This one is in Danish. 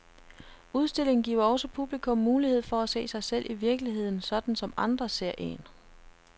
Udstillingen giver også publikum mulighed for at se sig selv i virkeligheden, sådan som andre ser en.